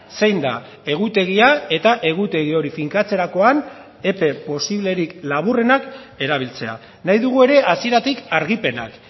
zein da egutegia eta egutegi hori finkatzerakoan epe posiblerik laburrenak erabiltzea nahi dugu ere hasieratik argipenak